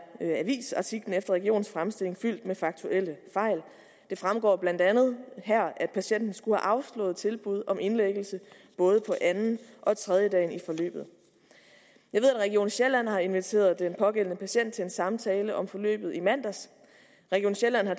avisartiklen regionens fremstilling fyldt med faktuelle fejl det fremgår blandt andet her at patienten skulle have afslået tilbud om indlæggelse både på anden og tredjedagen i forløbet jeg ved at region sjælland har inviteret den pågældende patient til en samtale om forløbet i mandags region sjælland har